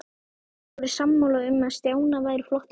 Þeir voru sammála um að Stjána væri flottastur.